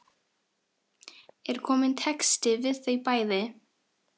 Er kominn texti við þau bæði?